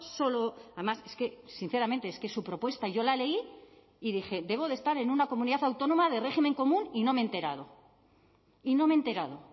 solo además es que sinceramente es que su propuesta yo la leí y dije debo de estar en una comunidad autónoma de régimen común y no me he enterado y no me he enterado